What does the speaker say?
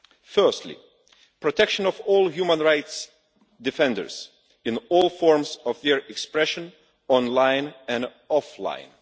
Firstly, protection of all human rights defenders in all forms of their expression online and offline.